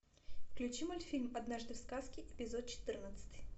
включи мультфильм однажды в сказке эпизод четырнадцатый